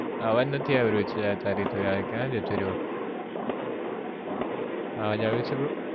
અવાજ નથીં આવી રહ્યો છે યાર તારી તો યાર ક્યાં જતો રહ્યો અવાજ આવે છે Bro